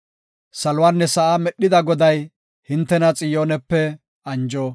Saluwanne sa7aa medhida Goday hintena Xiyoonepe anjo.